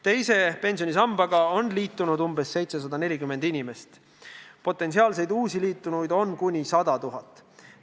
Teise pensionisambaga on liitunud umbes 740 000 inimest, potentsiaalseid uusi liitujaid on kuni 100 000.